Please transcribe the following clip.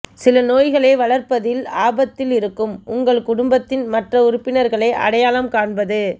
சில நோய்களை வளர்ப்பதில் ஆபத்தில் இருக்கும் உங்கள் குடும்பத்தின் மற்ற உறுப்பினர்களை அடையாளம் காண்பது